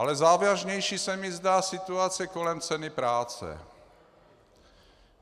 Ale závažnější se mi zdá situace kolem ceny práce.